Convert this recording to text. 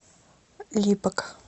липок